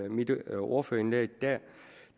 mit ordførerindlæg at